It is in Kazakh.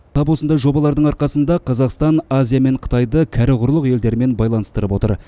тап осындай жобалардың арқасында қазақстан азия мен қытайды кәрі құрлық елдерімен байланыстырып отыр